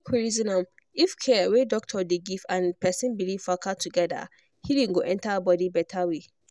make we reason am if care wey doctor dey give and person belief waka together healing go enter body better way.